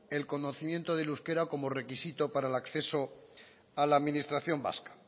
el conocimiento del euskera como requisito para el acceso a la administración vasca